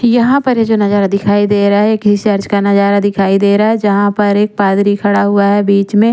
यहा पर ये जो नजारा दिखाई देरा है किसी का नजारा दिखाई देरा है जहा पर एक पादरी खड़ा हुआ है बिच में।